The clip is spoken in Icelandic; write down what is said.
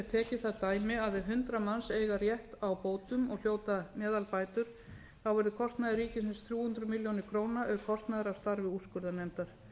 það dæmi að ef hundrað manns eiga rétt á bótum og hljóta meðalbætur verður kostnaður ríkisins tvö hundruð milljóna króna auk kostnaðar af starfi úrskurðarnefndar